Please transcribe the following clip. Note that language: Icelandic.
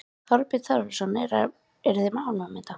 Þorbjörn Þórðarson: Eruð þið ánægð með þetta?